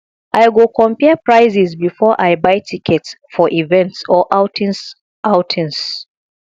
i go compare prices before i buy tickets for events or outings outings